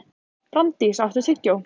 Branddís, áttu tyggjó?